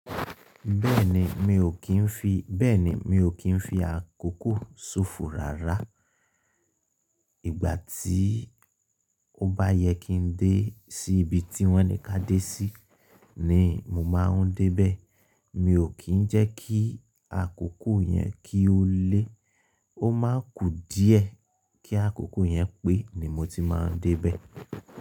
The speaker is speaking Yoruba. Bẹ́ẹ̀ni mi ò kí ń fi, bẹ́ẹ̀ni mi ò kí ń fi àkókò ṣòfò rárá. Ìgbà tí ó bá yẹ kí n dé sí ibi tí wọ́n ní ká dé sí ní mo máa ń dé bẹ́ẹ̀. Mi ò kí ń jẹ́ kí àkókò yẹn kí ó lé. Ó máa n kú díẹ̀ kí àkókò yẹn pé ni mo ti máa ń dé bẹ́ẹ̀.